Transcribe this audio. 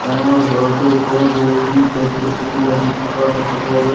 ডাঙৰৰ ঘৰটো ওপৰৰ বহুখিনি গছ গছনি লাগি থকাও দেখা পোৱা গৈছ --